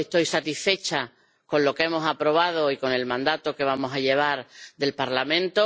Estoy satisfecha con lo que hemos aprobado y con el mandato que vamos a llevar del Parlamento.